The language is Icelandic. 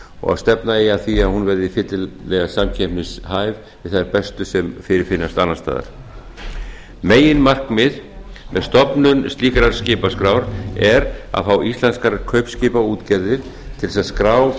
og stefna eigi að því að hún verði fyllilega samkeppnishæf þeim bestu sem fyrirfinnast annars staðar meginmarkmið með stofnun slíkrar skipaskrár er að fá íslenskar kaupskipaútgerðir til þess að skrá